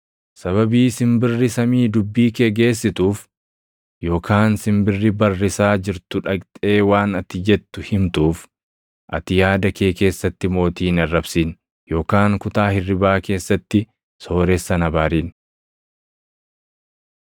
Sababii simbirri samii dubbii kee geessituuf, yookaan simbirri barrisaa jirtu dhaqxee waan ati jettu himtuuf, ati yaada kee keessatti mootii hin arrabsin; yookaan kutaa hirribaa keessatti sooressa hin abaarin.